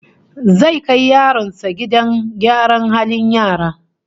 Zai kai yaronsa gidan gidan gyaran halin yara